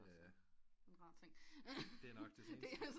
Det er nok det seneste